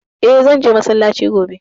Eh, zan je massalaci gobe